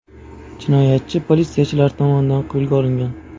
Jinoyatchi politsiyachilar tomonidan qo‘lga olingan.